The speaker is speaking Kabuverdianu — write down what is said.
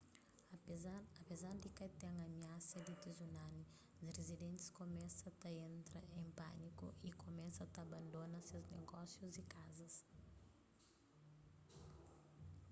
apezar di ka ten amiasa di tsunami rizidentis kumesa ta entra en pâniku y kumesa ta abandona ses negósius y kazas